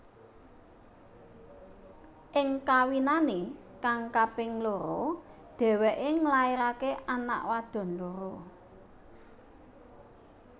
Ing kawinane kang kaping loro dheweke nglairake anak wadon loro